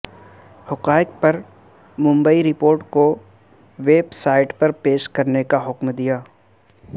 حقائق پر مبنی رپورٹ کو ویب سائٹ پر پیش کرنے کا حکم دیا